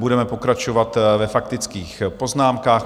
Budeme pokračovat ve faktických poznámkách.